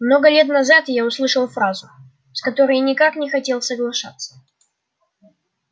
много лет назад я услышал фразу с которой никак не хотел соглашаться